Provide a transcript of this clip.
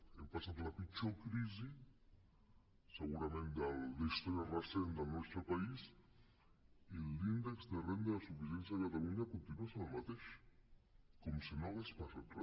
hem passat la pitjor crisi segurament de la història recent del nostre país i l’índex de renda de suficiència de catalunya continua sent el mateix com si no hagués passat re